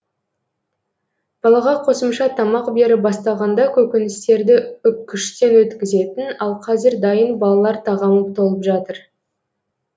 балаға қосымша тамақ беріп бастағанда көкөністерді үккіштен өткізетін ал қазір дайын балалар тағамы толып жатыр